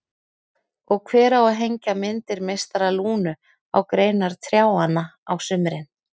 Og hver á að hengja myndir meistara Lúnu á greinar trjánna á sumrin?